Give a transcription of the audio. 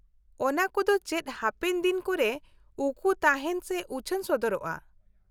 -ᱚᱱᱟ ᱠᱩᱫᱚ ᱪᱮᱫ ᱦᱟᱯᱮᱱ ᱫᱤᱱ ᱠᱚᱨᱮ ᱩᱠᱩ ᱛᱟᱦᱮᱸᱱᱟ ᱥᱮ ᱩᱪᱷᱟᱹᱱ ᱥᱚᱫᱚᱨᱚᱜᱼᱟ ?